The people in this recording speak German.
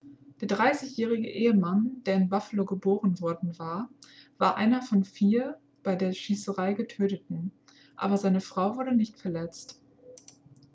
der 30-jährige ehemann der in buffalo geboren worden war war einer von vier bei der schießerei getöteten aber seine frau wurde nicht verletzt